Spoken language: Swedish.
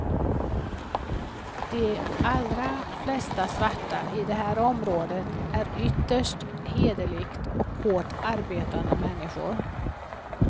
De allra flesta svarta i det här området är ytterst hederligt och hårt arbetande människor.